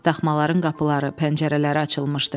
Daxmaların qapıları, pəncərələri açılmışdı.